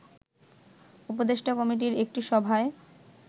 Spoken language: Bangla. উপদেষ্টা কমিটির একটি সভায়